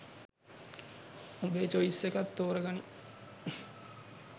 උඹේ චොයිස් එකක් තෝර ගනිං